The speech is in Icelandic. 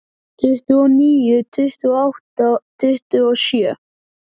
Tuttugu og níu, tuttugu og átta, tuttugu og sjö.